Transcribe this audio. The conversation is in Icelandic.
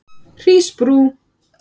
Hrísbrú